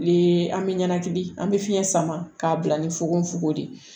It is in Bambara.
An bɛ ɲɛnakili an bɛ fiɲɛ sama k'a bila ni fugon de ye